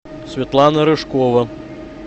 светлана рыжкова